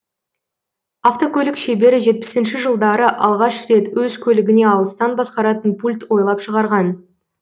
автокөлік шебері жетпісінші жылдары алғаш рет өз көлігіне алыстан басқаратын пульт ойлап шығарған